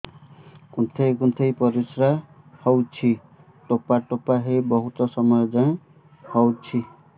କୁନ୍ଥେଇ କୁନ୍ଥେଇ ପରିଶ୍ରା ହଉଛି ଠୋପା ଠୋପା ହେଇ ବହୁତ ସମୟ ଯାଏ ହଉଛି